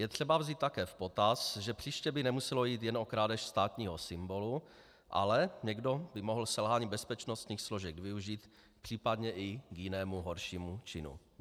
Je třeba vzít také v potaz, že příště by nemuselo jít jen o krádež státního symbolu, ale někdo by mohl selhání bezpečnostních složek využít případně i k jinému, horšímu činu.